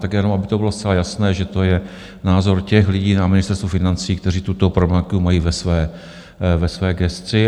Tak jenom, aby to bylo zcela jasné, že to je názor těch lidí na Ministerstvu financí, kteří tuto problematiku mají ve své gesci.